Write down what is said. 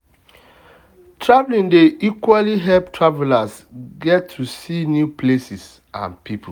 traveling dey equally help travelers get to see new places and people.